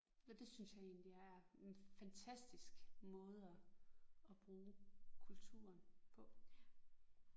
Og det synes jeg egentlig er en fantastisk måde at at bruge kulturen på